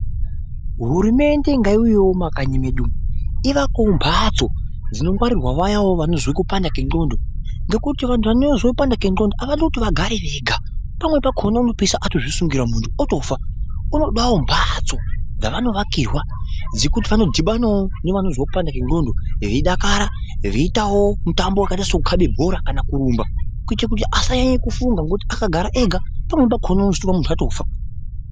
Hurumende ngaiuyewo mumakanyi medu umu ivakewo mbatso dzinongwarirwe vaya vanozwa kupanda kwendxondo nokuti vantu vanozwa nendxondo havadi kuti vagare vega. Pamwe pakona unopezisira atozvisungirira muntu otofa, unodawo mbatso dzavanovakirwa dzokuti vanodhivanawo nevanozwa kupanda kwendxondo veidakara veiitawo mitambo yekaita sekukave bhora kana kurumba, kuitira kuti asanyanye kufunga ngekuti akagare ega panokona muntu atofa.